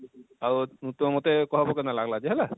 ଆଉ ତମେ ମତେ କହେବ କେନତା ଲାଗଲା ଯେ ହେଲା